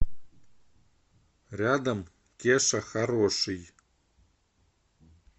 рядом кеша хороший